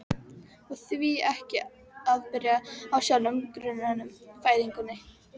Og því ekki að byrja á sjálfum grunninum: fæðingunni?